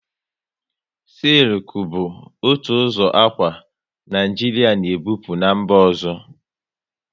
Sịlku bu otu ụzọ akwa, Naijiria na e bupu n'mba ọzọ